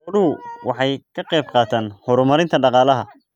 Xooluhu waxay ka qayb qaataan horumarinta dhaqaalaha.